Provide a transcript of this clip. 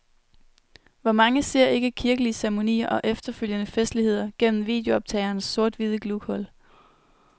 Hvor mange ser ikke kirkelige ceremonier og efterfølgende festligheder gennem videooptagerens sorthvide glughul?